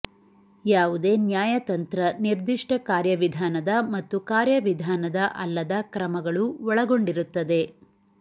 ಯಾವುದೇ ನ್ಯಾಯ ತಂತ್ರ ನಿರ್ದಿಷ್ಟ ಕಾರ್ಯವಿಧಾನದ ಮತ್ತು ಕಾರ್ಯವಿಧಾನದ ಅಲ್ಲದ ಕ್ರಮಗಳು ಒಳಗೊಂಡಿರುತ್ತದೆ